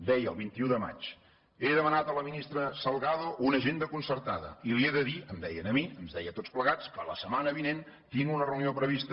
deia el vint un de maig he demanat a la ministra salgado una agenda concertada i li he de dir em deia a mi ens deia a tots plegats que la setmana vinent tinc una reunió prevista